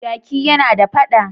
Jaki yana da fada.